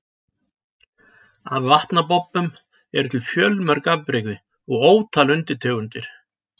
Af vatnabobbum eru til fjölmörg afbrigði og ótal undirtegundir.